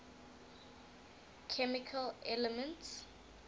chemical elements